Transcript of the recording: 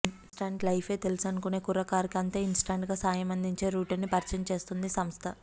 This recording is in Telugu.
ఇన్స్టంట్ లైఫే తెలుసనుకునే కుర్రకారుకి అంతే ఇన్స్టంట్గా సాయం అందించే రూటుని పరిచయం చేస్తోందీ సంస్థ